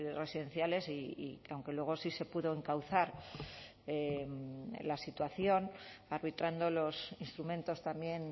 residenciales y que aunque luego sí se pudo encauzar la situación arbitrando los instrumentos también